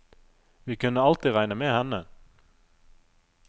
Vi kunne alltid regne med henne.